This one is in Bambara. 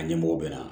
A ɲɛmɔgɔ bɛ na